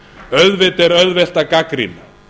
auðvitað er auðvelt að gagnrýna